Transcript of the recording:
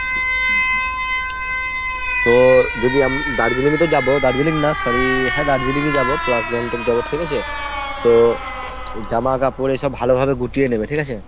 তো যদি Darjeeling ই তো যাবো Darjeeling না sorry হ্যাঁ Darjeeling ই যাবো plus Gangtok যাবো ঠিক আছে ? তো জামাকাপড় এসব ভালোভাবে গুটিয়ে নেবে ঠিক আছে ?